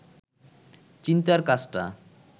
চিন্তার কাজটা